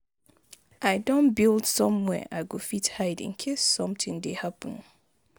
I don build somewhere I go fit hide in case something dey happen.